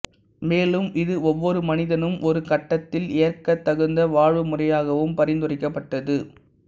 மேலும் இது ஒவ்வொரு மனிதனும் ஒரு கட்டத்தில் ஏற்கத் தகுந்த வாழ்வு முறையாகவும் பரிந்துரைக்கப்பட்டது